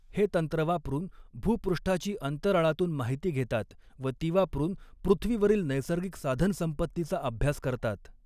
हे तंत्र वापरून भूपृष्ठाची अंतराळातून माहिती घेतात व ती वापरून पृुथ्वीवरील नैसर्गिक साधनसंपत्तीचा अभ्यास करतात.